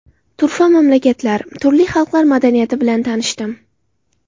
Turfa mamlakatlar, turli xalqlar madaniyati bilan tanishdim.